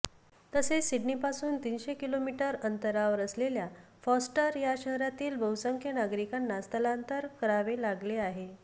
तसेच सिडनीपासून तीनशे किलोमीटर अंतरावर असलेल्या फॉस्टर या शहरातील बहुसंख्य नागरिकांना स्थलांतर करावे लागले आहे